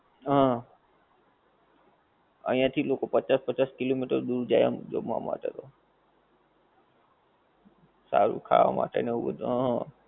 હં. અહીયાં થી લોકો પચાસ પચાસ કિલોમીટર દૂર જાય આમ જમવા માટે તો. સારું ખાવા માટે ને એવું બધુ હં.